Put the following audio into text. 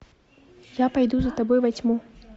я пойду за тобой во тьму